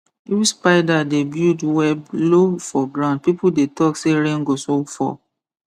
if spider dey build web low for ground people dey talk say rain go soon fall